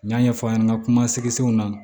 N y'a ɲɛfɔ a ɲɛna nka kumasigiw na